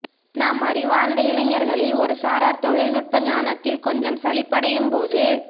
நம் அறிவார்ந்த இளைஞர்களில் ஒரு சாரார் தொழில்நுட்ப ஞானத்தில் கொஞ்சம் சலிப்படையும்போது